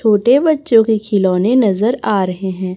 छोटे बच्चों के खिलौने नजर आ रहे हैं।